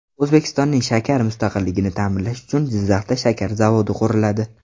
O‘zbekistonning shakar mustaqilligini ta’minlash uchun Jizzaxda shakar zavodi quriladi.